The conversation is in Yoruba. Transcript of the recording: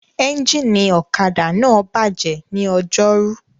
Ẹ́ńjìnì ọ̀kadà náà bàjẹ́ ní Ọjọ́rú